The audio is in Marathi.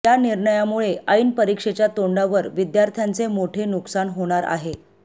या निर्णयामुळे ऐन परीक्षेच्या तोंडावर विद्यार्थ्यांचे मोठे नुकसान होणार आहे